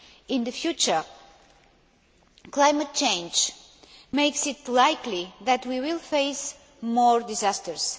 In the future, climate change makes it likely that we will face more disasters.